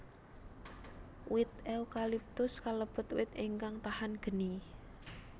Wit eukaliptus kalebet wit ingkang tahan geni